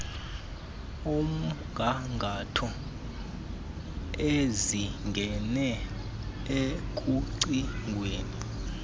omgangatho ezingene ekucingweni